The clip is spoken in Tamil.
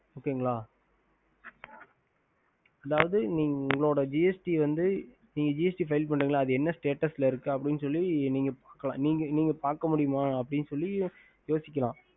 ஹம்